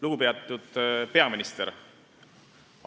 Lugupeetud peaminister!